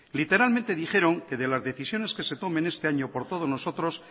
literalmente dijeron que de las decisiones que se tomen este año por todos nosotros